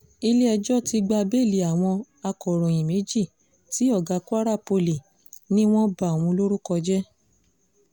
ilé-ẹjọ́ ti gba bẹ́ẹ̀lì àwọn akòròyìn méjì tí ọ̀gá kwara poli ni wọ́n ba òun lórúkọ jẹ́